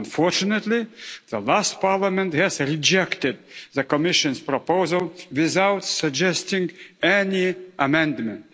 Unfortunately the last Parliament rejected the Commission's proposal, without suggesting any amendment.